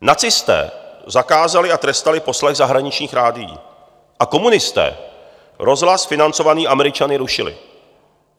Nacisté zakázali a trestali poslech zahraničních rádií a komunisté rozhlas financovaný Američany rušili.